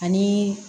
Ani